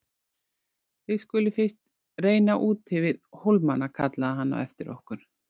Þið skuluð fyrst reyna úti við hólmana kallaði hann á eftir okkur.